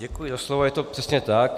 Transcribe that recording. Děkuji za slovo, je to přesně tak.